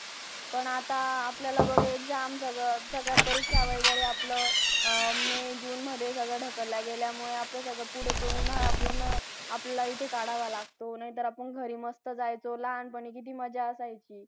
आणि IT it म्हणजे accounting related it आम्हाला शिकवतात ती लोक